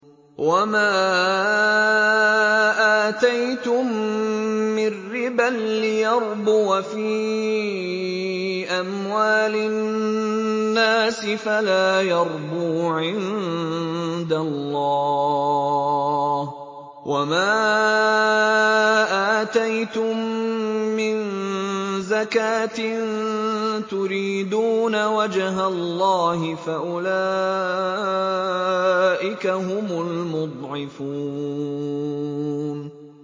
وَمَا آتَيْتُم مِّن رِّبًا لِّيَرْبُوَ فِي أَمْوَالِ النَّاسِ فَلَا يَرْبُو عِندَ اللَّهِ ۖ وَمَا آتَيْتُم مِّن زَكَاةٍ تُرِيدُونَ وَجْهَ اللَّهِ فَأُولَٰئِكَ هُمُ الْمُضْعِفُونَ